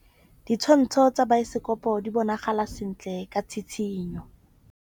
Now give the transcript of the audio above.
Ditshwantshô tsa biosekopo di bonagala sentle ka tshitshinyô.